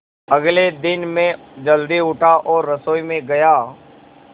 अगले दिन मैं जल्दी उठा और रसोई में गया